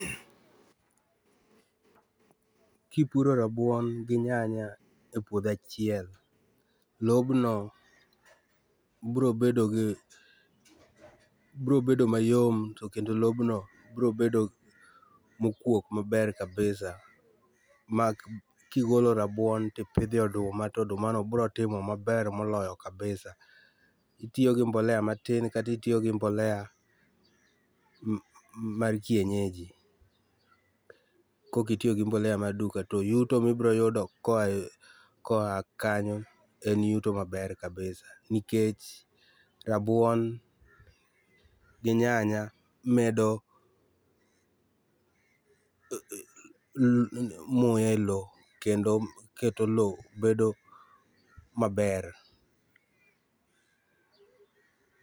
Kipuro rabuon gi nyanya e puodho achiel, lobno biro bedo gi ,biro bedo mayom kendo lobno biro bedo mokuok maber kabisa ma kigolo rabuon tipidhe oduma to oduma no biro timo maber moloyo kabisa. Itiyo gi mbolea matin kata itiyo gi mbolea mar kienyeji kaok itiyo gi mar duka to yuto mibro yudo koa ,koa kanyo en yuto maber kabisa nikech rabuon gi nyanya medo muya e loo kendo keto loo bedo maber